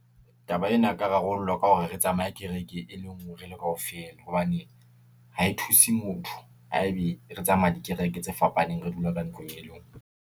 Taba ena eka rarollwa ka hore re tsamaye kereke e le ngwe re le kaofela, hobane ha e thuse motho ha ebe re tsamaya dikereke tse fapaneng, re dula ka ntlong e lengwe.